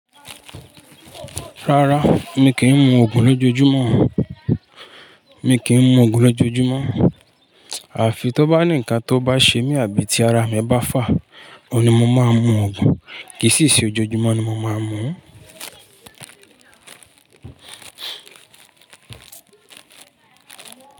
Rárá mi kì í mu Ògùn lójojúmọ́, mi kì í mu Ògùn lójojúmọ́. Àfi tó bá ní nnkan tó bá ṣe mí àbí tí ara mi bá fà, òhun ni mo máa mu Ògùn. Kì í sì ṣe ojoojúmọ́ ni mo máa ń mu.